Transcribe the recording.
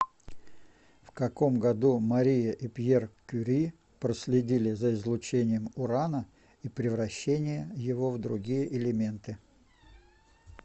в каком году мария и пьер кюри проследили за излучением урана и превращения его в другие элементы